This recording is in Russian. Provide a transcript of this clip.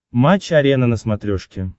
матч арена на смотрешке